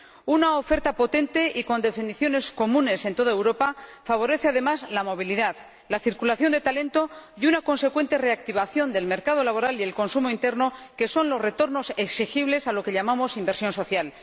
Una oferta potente y con definiciones comunes en toda Europa favorece además la movilidad, la circulación de talento y una consecuente reactivación del mercado laboral y el consumo interno, que son los retornos exigibles a lo que llamamos inversión social.